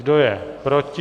Kdo je proti?